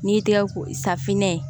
N'i y'i tɛgɛ ko safinɛ ye